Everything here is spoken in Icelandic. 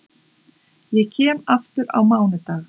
Ég kem aftur á mánudag.